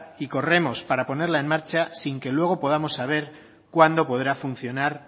y corremos para ponerla en marcha sin que luego podamos saber cuándo podrá funcionar